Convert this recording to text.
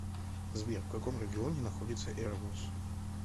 сбер в каком регионе находится эребус